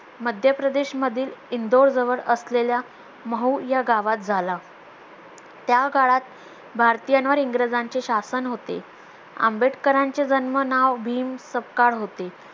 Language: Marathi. मध्यप्रदेश मधील इंदोर जवळ असलेल्या महू या गावात झाला त्या काळात भारतीयांवर इंग्रजांचे शासन होते आंबेडकरांचे जन्म नाव भीम सपकाळ होते